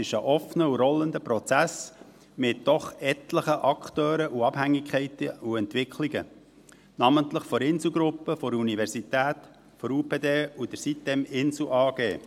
Es ist ein offener und rollender Prozess mit doch etlichen Akteuren, Abhängigkeiten und Entwicklungen, namentlich der Insel-Gruppe, der Universität, der UPD und der siteminsel AG.